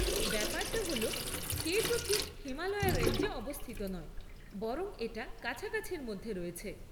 ব্যাপারটা হল K two ঠিক হিমালয়ার রেঞ্জে অবস্থিত নয়, বরং এটা কাছাকাছির মধ্যে রয়েছে।